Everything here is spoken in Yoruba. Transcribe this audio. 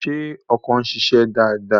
Ṣé ọkọ̀ ń ṣiṣẹ́ dáadáa?